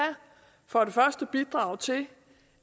for det første bidrage til